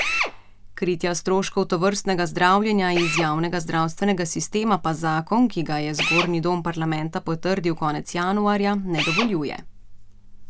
Kritja stroškov tovrstnega zdravljenja iz javnega zdravstvenega sistema pa zakon, ki ga je zgornji dom parlamenta potrdil konec januarja, ne dovoljuje.